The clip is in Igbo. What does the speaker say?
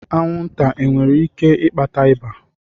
Anwụnta nwere ike ịkpata ịba?